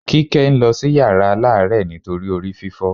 Kíkẹ́ ń lọ sí yàrá aláàárẹ̀ nítorí orí fífọ́